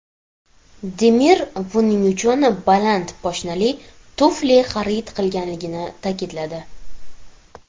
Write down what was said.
Demir buning uchun baland poshnali tufli xarid qilganligini ta’kidladi.